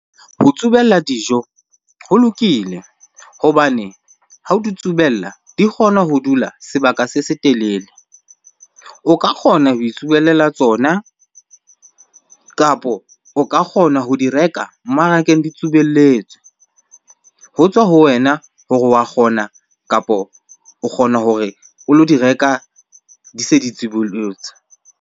Ho tsubella dijo ho lokile hobane ha o di tsubela di kgona ho dula sebaka se setelele. O ka kgona ho itsubelela tsona kapo o ka kgona ho di reka mmarakeng di tsubelletswe. Ho tswa ho wena hore wa kgona kapo o kgona hore o lo di reka di se di tsubollotswe.